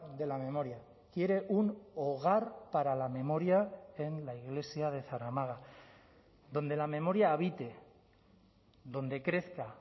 de la memoria quiere un hogar para la memoria en la iglesia de zaramaga donde la memoria habite donde crezca